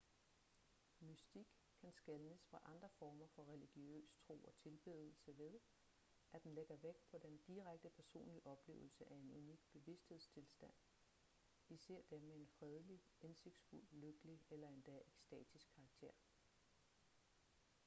mystik kan skelnes fra andre former for religiøs tro og tilbedelse ved at den lægger vægt på den direkte personlige oplevelse af en unik bevidsthedstilstand især dem med en fredelig indsigtsfuld lykkelig eller endda ekstatisk karakter